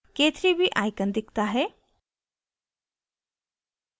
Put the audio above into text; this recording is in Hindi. k3b icon दिखता है